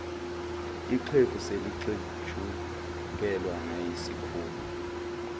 ixhegu selixetshukelwa nayisikhumba